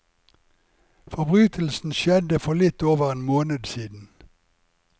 Forbrytelsen skjedde for litt over en måned siden.